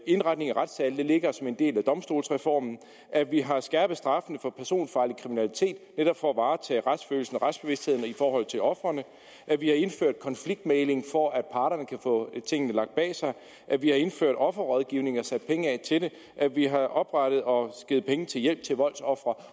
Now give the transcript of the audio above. indretning af retssale ligger som en del af domstolsreformen at vi har skærpet straffene for personfarlig kriminalitet netop for at varetage retsfølelsen og retsbevidstheden i forhold til ofrene at vi har indført konfliktmægling for at parterne kan få tingene lagt bag sig at vi har indført offerrådgivning og sat penge af til det at vi har oprettet og givet penge til hjælp til voldsofre